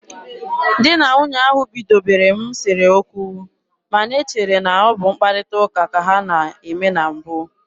Di na nwunye ahụ bidobere m sere okwu, ma na e chere na ọ bụ mkparịta ụka ka ha na-eme na mbụ.